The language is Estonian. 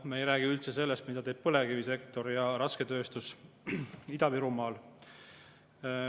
Me ei räägi üldse sellest, mida teevad põlevkivisektor ja rasketööstus Ida-Virumaal.